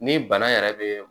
Ni bana yɛrɛ bɛ